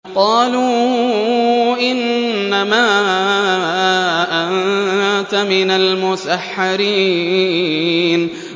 قَالُوا إِنَّمَا أَنتَ مِنَ الْمُسَحَّرِينَ